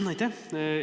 Jaa, aitäh!